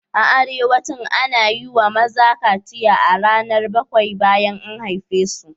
A arewacin, ana yi wa maza kaciya a ranar bakwai bayan an haife su.